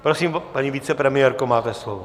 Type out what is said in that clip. Prosím, paní vicepremiérko, máte slovo.